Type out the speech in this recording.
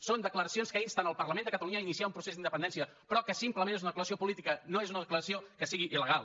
són declaracions que insten el parlament de catalunya a iniciar un procés d’independència però que simplement és una declaració política no és una declaració que sigui illegal